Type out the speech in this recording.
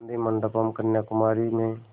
गाधी मंडपम् कन्याकुमारी में